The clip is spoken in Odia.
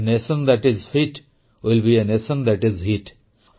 a nation that is fit will be a nation that is ହିତ୍